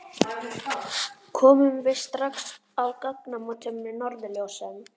Komum við strax að gatnamótum með norðurljósum